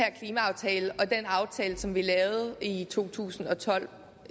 aftale som vi lavede i 2012